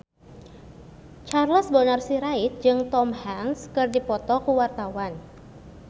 Charles Bonar Sirait jeung Tom Hanks keur dipoto ku wartawan